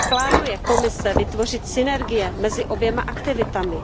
Jak plánuje Komise vytvořit synergie mezi oběma aktivitami?